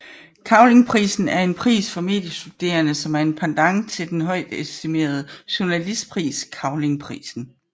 Kravlingprisen er en pris for mediestuderende som en pendant til den højtestimerede journalistpris Cavlingprisen